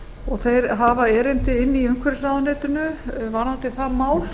og þeir hafa erindi inni í umhverfisráðuneytinu varðandi það mál